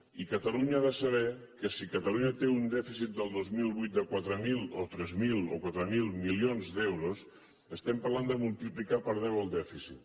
i catalunya ha de saber que si catalunya té un dèficit del dos mil vuit de tres mil o quatre mil milions d’euros estem parlant de multiplicar per deu el dèficit